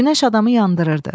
Günəş adamı yandırırdı.